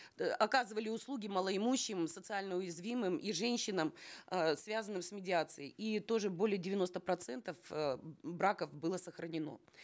э оказывали услуги малоимущим социально уязвимым и женщинам э связанным с медиацией и тоже более девяноста процентов э браков было сохранено